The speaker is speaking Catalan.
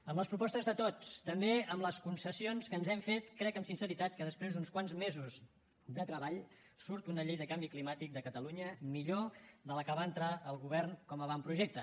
amb les propostes de tots també amb les concessions que ens hem fet crec amb sinceritat que després d’uns quants mesos de treball surt una llei del canvi climàtic de catalunya millor de la que va entrar el govern com a avantprojecte